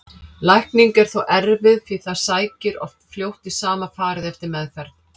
Lækning er þó erfið því það sækir oft fljótt í sama farið eftir meðferð.